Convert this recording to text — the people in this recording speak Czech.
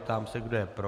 Ptám se, kdo je pro.